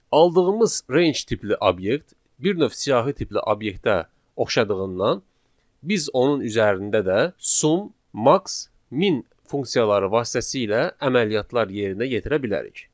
Aldığımız range tipli obyekt bir növ siyahı tipli obyektə oxşadığından, biz onun üzərində də sum, max, min funksiyaları vasitəsilə əməliyyatlar yerinə yetirə bilərik.